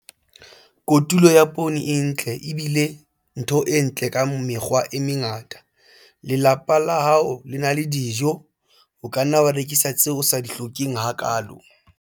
Kotulo ya poone e ntle e bile ntho e ntle ka mekgwa e mengata - lelapa la hao le na le dijo. O ka nna wa rekisa tseo o sa di hlokeng hakaalo.